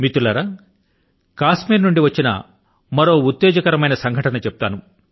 మిత్రులారా కశ్మీర్ నుండి వచ్చిన మరో ఉత్తేజకరమైన సంఘటన ను గురించి చెప్తాను